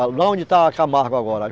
Lá onde está a Camargo agora.